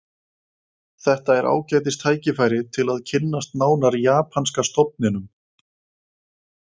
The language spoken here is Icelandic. Þetta er ágætis tækifæri til að kynnast nánar japanska stofninum